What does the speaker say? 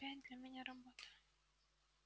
опять для меня работа